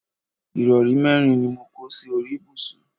ìrọrí mẹ́rin ni mo kó sí orí ibùsùn